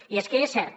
i és que és cert